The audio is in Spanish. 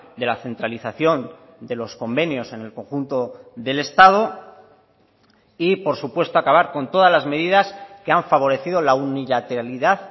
de la centralización de los convenios en el conjunto del estado y por supuesto acabar con todas las medidas que han favorecido la unilateralidad